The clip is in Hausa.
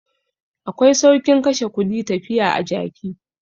Akwai saukin kashe kudi tafiya a jaki.